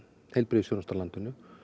heilbrigðisþjónustu á landinu